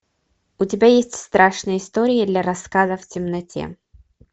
у тебя есть страшные истории для рассказа в темноте